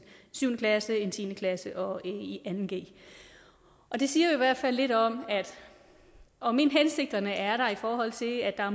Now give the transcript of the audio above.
syvende klasse en tiende klasse og en anden g det siger i hvert fald lidt om at om end hensigterne er der i forhold til at